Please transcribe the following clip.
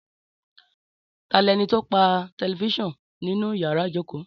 Tà lẹni tó pà tẹlifisiọnu nínù yàrá ìjókò?